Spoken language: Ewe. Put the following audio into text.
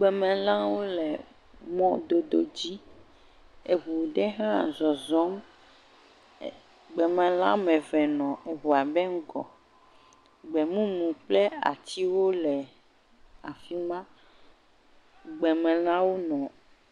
Gbemelãwo le mɔdodo dzi eŋu ɖe hã zɔzɔm. E gbemela wɔme eve nɔ eŋua ƒe ŋgɔ. Gbemumu kple atiwo le afi ma. Gbemelãwo nɔ